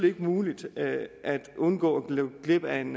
ikke muligt at undgå at gå glip af en